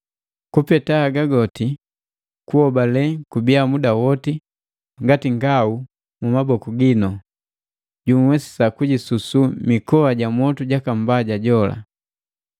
Kupeta haga goti, kuhobale kubiya muda woti ngati ngau mu maboku ginu, junhwesisa kujisusu mikoa ja mwotu jaka Mbaja jola.